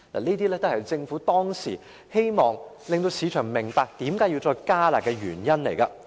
這些都是政府當時希望市場明白需要再度"加辣"的原因。